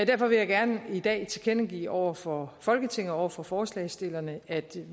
derfor vil jeg gerne i dag tilkendegive over for folketinget og over for forslagsstillerne at